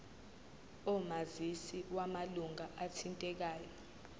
omazisi wamalunga athintekayo